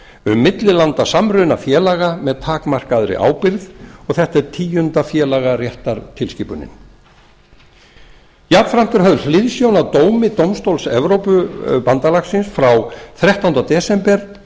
um millilandasamruna félaga með takmarkaðri ábyrgð og þetta er tíunda félagaréttartilskipunin jafnframt er höfð hliðsjón af dómi dómstóls evrópubandalaganna frá þrettánda desember